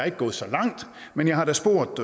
ikke gået så langt men jeg har da spurgt